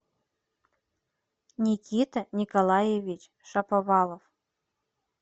никита николаевич шаповалов